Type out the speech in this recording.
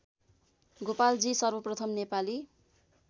गोपालजी सर्वप्रथम नेपाली